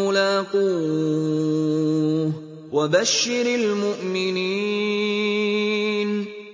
مُّلَاقُوهُ ۗ وَبَشِّرِ الْمُؤْمِنِينَ